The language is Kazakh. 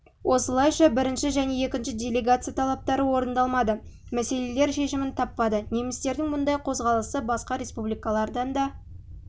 осылайша бірінші және екінші делегация талаптары орындалмады мәселелер шешімін таппады немістердің мұндай қозғалысы басқа республикаларында да